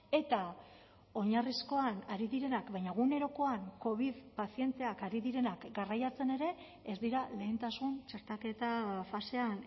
eta oinarrizkoan ari direnak baina egunerokoan covid pazienteak ari direnak garraiatzen ere ez dira lehentasun txertaketa fasean